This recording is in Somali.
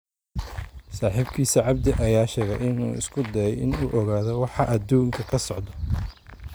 Saaxiibkiis cabdi ayaa sheegay in uu "isku dayay in uu ogaado waxa adduunka ka socda".